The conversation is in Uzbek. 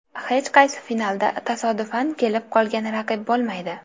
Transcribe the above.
Hech qaysi finalda tasodifan kelib qolgan raqib bo‘lmaydi”.